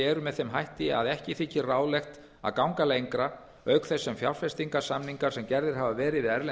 eru með þeim hætti að ekki þykir ráðlegt að ganga lengra auk þess sem fjárfestinga samningar sem gerðir hafa verið við erlend